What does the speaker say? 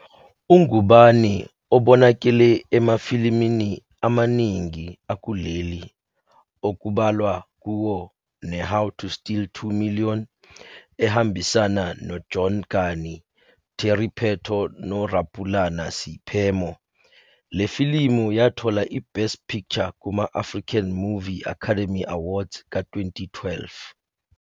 UNgubane ubonakale emafilimini amaningi akuleli okubalwa "kuwo neHow to Steal 2 Million", ehambisana noJohn Kani, Terry Pheto noRapulana Seiphemo. Le filimu yathola iBest Picture kuma- African Movie Academy Awards ka-2012.